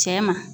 Cɛ ma